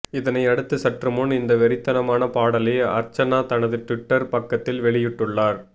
இதனை அடுத்து சற்று முன் இந்த வெறித்தனமான பாடலை அர்ச்சனா தனது டுவிட்டர் பக்கத்தில் வெளியிட்டுள்ளார்